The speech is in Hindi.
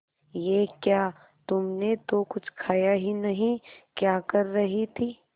ये क्या तुमने तो कुछ खाया ही नहीं क्या कर रही थी